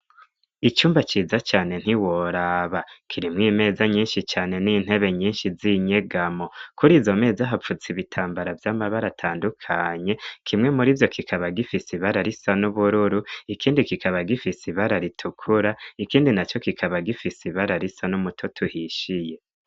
icumba ciza cane ntiworaba kirimwo imeza nyinshi cane n'intebe nyinshi z'inyegamo kuri izo mezi hapfutse ibitambara vy'amabara atandukanye kimwe muri vyo kikaba gifise ibara risa n'ubururu ikindi kikaba gifise ibara ritukura ikindi na co kikaba gifise ibara risa n'umutoto tuhishiye